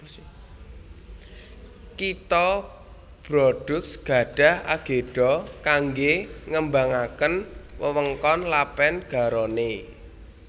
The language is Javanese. Kitha Bordeaux gadhah agedha kanggé ngembangaken wewengkon Lèpèn Garonne